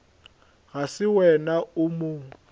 ga se wena o mo